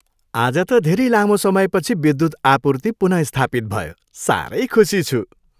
आज त धेरै लामो समयपछि विद्युत आपूर्ति पुनःस्थापित भयो। साह्रै खुसी छु।